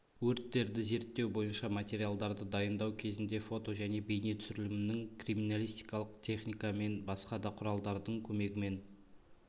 өрттерді зерттеу бойынша материалдарды дайындау кезінде фото және бейнетүсірілімнің криминалистикалық техника мен басқа да құралдардың көмегімен